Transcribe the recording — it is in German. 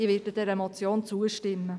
Ich werde dieser Motion zustimmen.